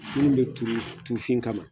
Minnu bɛ turu tufin kama